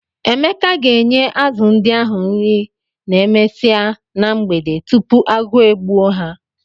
Emeka ga-enye azụ ndị ahụ nri n'emesia na mgbede tupu agụụ e gbuo ha.